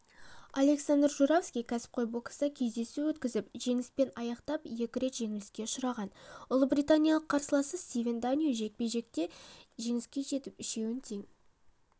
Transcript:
александр журавский кәсіпқой бокста кездесу өткізіп жеңіспен аяқтап екі рет жеңіліске ұшыраған ұлыбританиялық қарсыласы стивен даньо жекпе-жекте жеңіске жетіп үшеуін тең